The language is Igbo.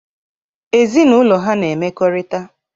Ezinaụlọ ha na-emekorita.